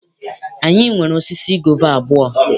Anyị nwere osisi gova abụọ.